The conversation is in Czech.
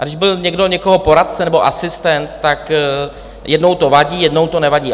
A když byl někdo někoho poradce nebo asistent, tak jednou to vadí, jednou to nevadí.